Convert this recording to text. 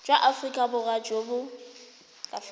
jwa aforika borwa jo bo